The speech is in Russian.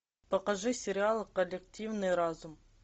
покажи сериал коллективный разум